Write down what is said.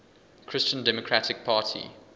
christian democratic party